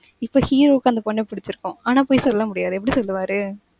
இப்ப hero க்கு அந்த பொண்ண பிடிச்சிருக்கும். ஆனா, போய் சொல்ல முடியாது. எப்படி சொல்லுவாரு?